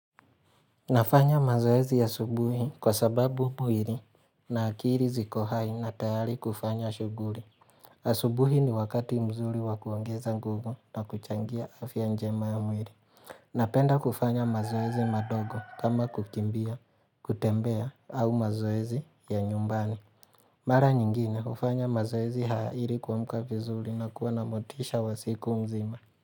Nafanya mazoezi ya subuhi kwa sababu buwiri na akiri zikohai na tayari kufanya shuguri. Asubuhi ni wakati mzuri wakuongeza nguvu na kuchangia afya njema ya mwiri. Napenda kufanya mazoezi madogo kama kukimbia, kutembea au mazoezi ya nyumbani. Mara nyingine ufanya mazoezi haya ilikuamka vizuri na kuwa na motisha wasiku mzima.